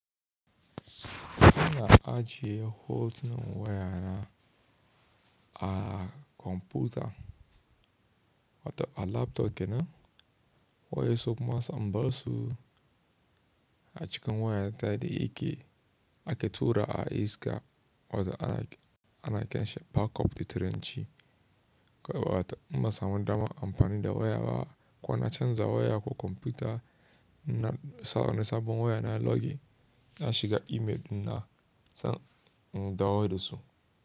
Kuna ajiye hotunan wayana a kwamfuta wato a laptop kenan? Wa ya so kuma sambasu a cikin wayarta da yake ake tura a Inka wata ana kenshe backup da turanci. Ko wata muba samu dama amfani da waya ba kuwa na canza waya ko kwamfuta na sabon waya na login na shiga email na dawo da su.